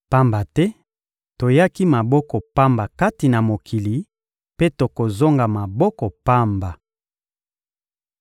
Pamba te, toyaki maboko pamba kati na mokili, mpe tokozonga maboko pamba.